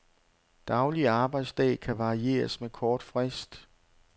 Daglig arbejdsdag kan varieres med kort frist.